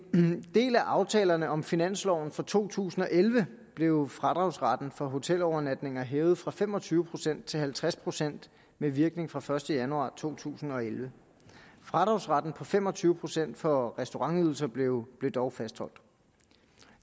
del af aftalen om finansloven for to tusind og elleve blev fradragsretten for hotelovernatninger hævet fra fem og tyve procent til halvtreds procent med virkning fra første januar to tusind og elleve fradragsretten på fem og tyve procent for restaurantydelser blev blev dog fastholdt